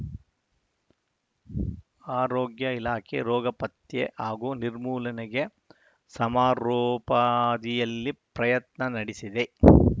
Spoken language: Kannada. ಆರೋಗ್ಯ ಇಲಾಖೆ ರೋಗ ಪತ್ತೆ ಹಾಗೂ ನಿರ್ಮೂಲನೆಗೆ ಸಮರೋಪಾದಿಯಲ್ಲಿ ಪ್ರಯತ್ನ ನಡೆಸಿದೆ